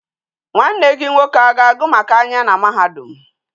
Nwa nne gi nwoke a ga agu maka anya na mahadum